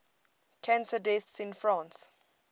cancer deaths in france